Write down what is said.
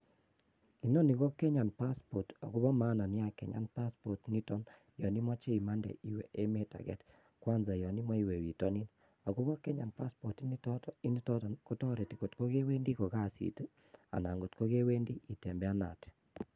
Inoni KO passport Nebo kenyaa, ak bo komonut missing yon imoche imande iwe emet age, Kwanza yon imoche iwe bitonin. Ak Kenyan passport initet ko tiretii ngot kewendi ko kasiit anan kotikewendi tembeanet